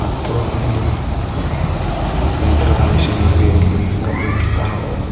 ಮತ್ತು ಅಲ್ಲಿ ಯಂತ್ರದ ಮಿಷನ್ ನಮಗೆ ಇಲ್ಲಿ ಗಮನಕ್ಕೆ ಕಾಹುದು.